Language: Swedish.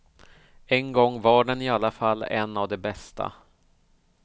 En gång var den i alla fall en av de bästa.